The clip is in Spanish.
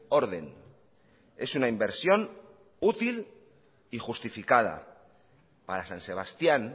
orden es una inversión útil y justificada para san sebastían